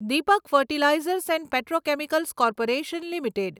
Deepak fertilisers and petrochemicals corporation limited